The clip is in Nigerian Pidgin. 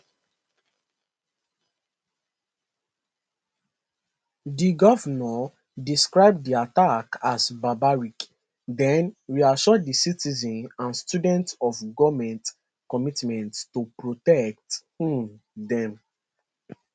di govnor describe di attack as barbaric den reassure di citizens and students of goment commitment to protect um dem